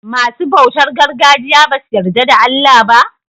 Masu bautar gargajiya basu yarda da Allah ba?